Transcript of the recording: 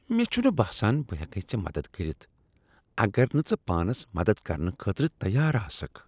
مےٚ چُھنہٕ باسان بہٕ ہیکیے ژے مدتھ کٔرِتھ اگر نہٕ ژٕ پانس مدتھ کرنہٕ خٲطرٕ تیار آسِکھ ۔